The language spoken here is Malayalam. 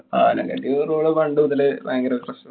ആനക്കട്ടി road പണ്ടുമുതലേ ഭയങ്കര പ്രശ്നാ.